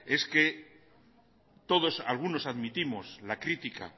es que algunos admitimos la crítica